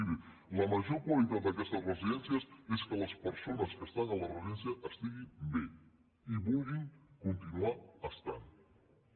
miri la major qualitat d’aquestes residències és que les persones que estan a la residència estiguin bé i vulguin continuar estant hi